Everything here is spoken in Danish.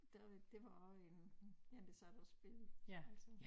Der var det var også en ja der sad og spillede altså